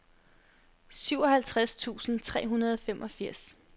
syvoghalvtreds tusind tre hundrede og femogfirs